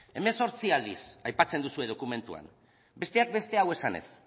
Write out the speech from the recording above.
dieciocho aldiz aipatzen duzue dokumentuan besteak beste hau esanez